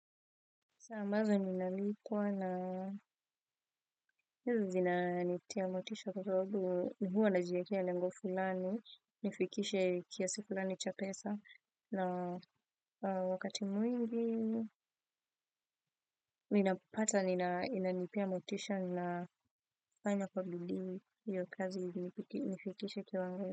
Saa ambazo nilikuwa nazo hizi zinanitia motisha kwa kuwa huwa najiwekea lengo fulani nifikishe kiasi fulani cha pesa na wakati mwingi ninapopata, inanipea motisha na nafanya kwa bidii hiyo kazi nifikishe, kiwango.